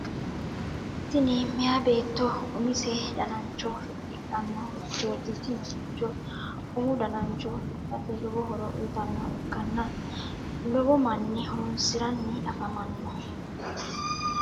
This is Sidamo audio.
tini meeya beetto umise danancho fixxidhanno hufichoti. tini huficho umu danancho fixxate lowo horo uyitannoha ikkanna lowo manni horonsiranni afamanno.